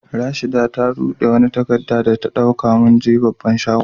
Rashida ta rude wani takada za ta dauka da mun je babban shagon.